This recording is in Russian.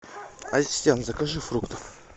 ассистент закажи фруктов